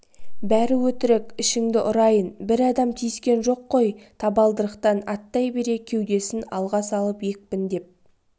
бәрі өтірік ішіңді ұрайын бір адам тиіскен жоқ қой табалдырықтан аттай бере кеудесін алға салып екпіндеп